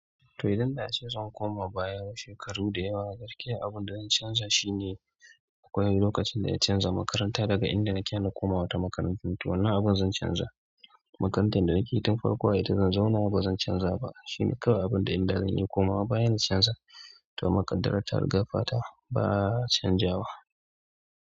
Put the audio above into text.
To idan da a ce zan koma baya shekaru da yawa, gaskiya abunda zan canza shine akwai lokacin da na canza makaranta daga inda nake na koma wata makarantun. To wannan abun zan canza makarantar da nake tun farko a ita zan zauna ba zan canza ba. Shine kawai abunda in da zan yi komawa baya na canza. To amma ƙaddara ta riga fata ba a canzawa.